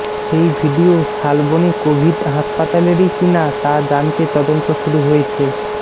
সেই video Salboni Covid হাসপাতালেরই কিনা তা জানতে তদন্ত শুরু হয়েছে